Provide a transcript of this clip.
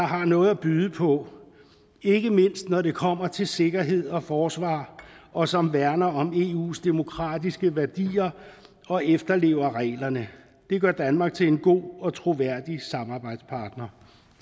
har noget at byde på ikke mindst når det kommer til sikkerhed og forsvar og som værner om eus demokratiske værdier og efterlever reglerne det gør danmark til en god og troværdig samarbejdspartner